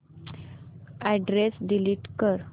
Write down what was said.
address delete कर